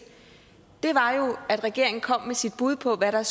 var jo at regeringen kom med sit bud på hvad der